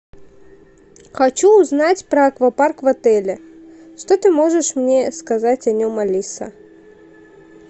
хочу узнать про аквапарк в отеле что ты можешь мне сказать о нем алиса